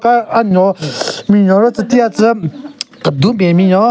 Aka anyon binyon ro tsü tikatsü kedun ben binyon.